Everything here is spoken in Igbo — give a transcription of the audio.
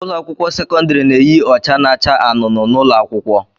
Ụlọ akwụkwọ sekọndrị na-eyi ọcha na-acha anụnụ n'ụlọ akwụkwọ.